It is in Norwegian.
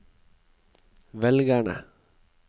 velgerne